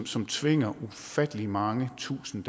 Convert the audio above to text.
som tvinger ufattelig mange tusinde